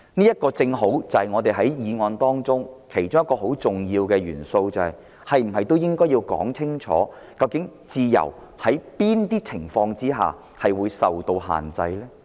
這正好是我們辯論這項議案中其中一個很重要的元素。當局是否應該清楚說明，在哪些情況下自由會受到限制？